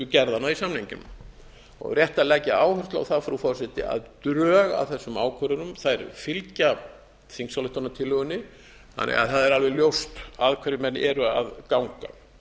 gerðanna í samningnum og rétt að leggja áherslu á það frú forseti að drög að þessum ákvörðunum fylgja þingsályktunartillögunni þannig að það er alveg ljóst að hverju menn eru að ganga